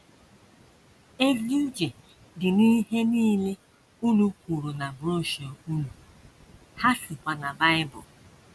Ezi uche dị n’ihe nile unu kwuru na broshuọ unu, ha sikwa na Bible. ”